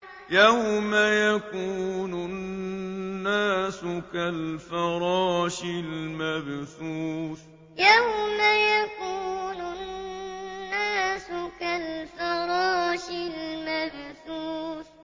يَوْمَ يَكُونُ النَّاسُ كَالْفَرَاشِ الْمَبْثُوثِ يَوْمَ يَكُونُ النَّاسُ كَالْفَرَاشِ الْمَبْثُوثِ